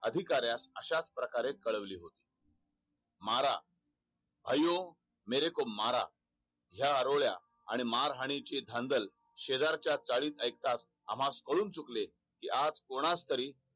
अधिकार्यात अश्या प्रकारे ठरवले होते मारा अयो मेरेको मारा या आरोळ्या आणि मानहानी ची धांदल शेजारच्या चाळीत आयकच आम्हास कळून चुकले आज तरी कोणास तरी